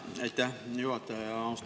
Aitäh, hea juhataja!